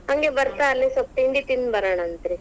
ಹಂಗೆ ಬತಾ೯ ಅಲ್ಲೇ ಸ್ವಲ್ಪ ತಿಂಡಿ ತಿಂದ್ ಬರೋಣಂತ್ರೀ.